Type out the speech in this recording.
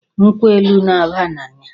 Nkwọ elu na-aba n'anya.